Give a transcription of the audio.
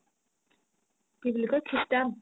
কি বুলি কই christian